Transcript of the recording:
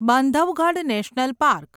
Bandhavgarh national park